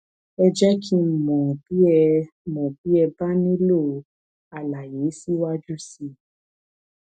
ẹ jẹ kí n mọ bí ẹ mọ bí ẹ bá nílò àlàyé síwájú sí i